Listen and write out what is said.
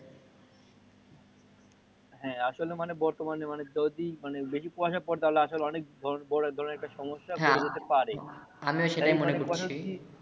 হ্যা আসলে মানে বর্তমানে যদি বেশি কুয়াশা পরে তো আসলে অনেক বড় ধরণের একটা সমস্যা বয়ে যেতে পারে হ্যা আমি ও সেটাই মনে করছি